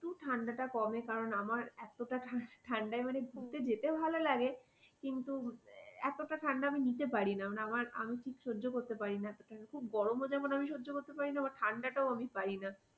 একটু ঠান্ডাটা কমে কারন আমার এতটা ঠান্ডা ঠান্ডায় মানে ঘুরতে যেতে ভালো লাগে কিন্তু এতটা ঠান্ডা আমি নিতে পারি না মানে আমার আমি ঠিক সহ্য করতে পারি না খুব গরমও যেমন আমি সহ্য করতে পারি না আবার ঠান্ডা টাও পারি তা।